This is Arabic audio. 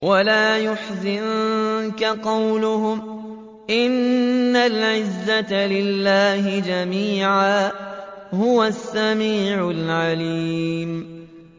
وَلَا يَحْزُنكَ قَوْلُهُمْ ۘ إِنَّ الْعِزَّةَ لِلَّهِ جَمِيعًا ۚ هُوَ السَّمِيعُ الْعَلِيمُ